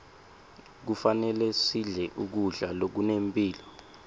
kufanele sidle kudla lokunemphilo